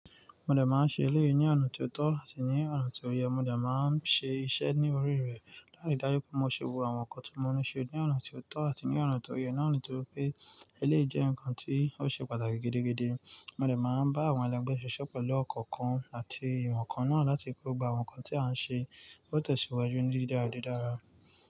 Mo dẹ̀ máa ń ṣe eléyìí ní ọ̀nà tí ó tọ́ àti ní ọ̀nà tí ó yẹ. Mo dẹ̀ máa ń ṣe iṣẹ́ ní orí rẹ̀ láti dájú pé mo ṣe wo àwọn nǹkan tí mọ́ ní ṣe ní ọ̀nà tí ó tọ́ àti ní ọ̀nà tí ó yẹ, ni ons yì ó pé. Eléyìí jẹ́ nǹkan tí ó ṣe pàtàkì gidigidi. Mo dẹ̀ máa ń bá àwọn ẹlẹgbẹ́ ṣiṣẹ́ pẹ̀lú ọ̀kan kan àti ìmọ̀ kan náà láti kó gba àwọn nǹkan tí a ń ṣe ó tẹ̀síwájú ní dídára.